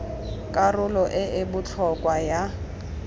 karolo e e botlhokwa ya